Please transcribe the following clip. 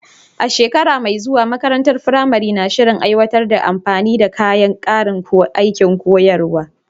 A shekara mai zuwa, makarantar firamare na shirin aiwatar da amfani da ƙarin kayan aikin koyarwa.